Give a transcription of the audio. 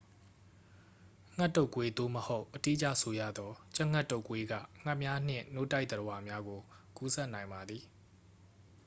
ငှက်တုပ်ကွေး သို့မဟုတ် အတိအကျဆိုရသော် ကြက်ငှက်တုပ်ကွေးက ငှက်များနှင့် နို့တိုက်သတ္တဝါများကို ကူးစက်နိုင်ပါသည်